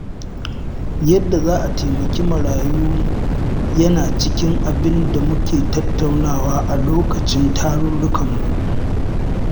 Yadda za a taimaki marayu yana cikin abinda muke tattaunawa a lokacin tarurrukanmu.